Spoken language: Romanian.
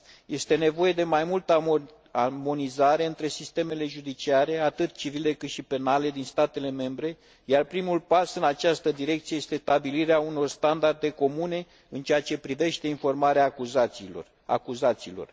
Este nevoie de mai multă armonizare între sistemele judiciare atât civile, cât și penale din statele membre, iar primul pas în această direcție este stabilirea unor standarde comune în ceea ce privește informarea acuzaților.